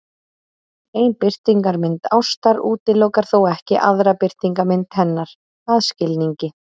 Ein birtingarmynd ástar útilokar þó ekki aðra birtingarmynd hennar, að skilningi